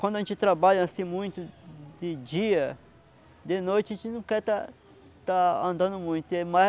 Quando a gente trabalha assim muito de dia, de noite a gente não quer estar estar andando muito. Aí